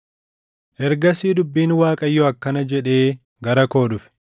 Ergasii dubbiin Waaqayyoo akkana jedhee gara koo dhufe: